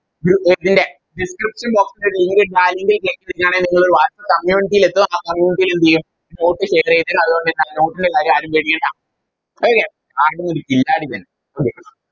നിങ്ങളൊരു Whatsapp community ൽ എത്തും ആ Community ൽ എന്തെയും Note share ചെയ്തരും അതുകൊണ്ട് തന്നെ note ന്റെ കാര്യം ആരും പേടിക്കണ്ട Okay carbon ഒരു കില്ലാഡി തന്നെ